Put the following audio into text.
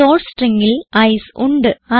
source stringൽ I C E ഉണ്ട്